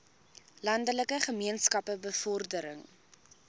landelike gemeenskappe bevordering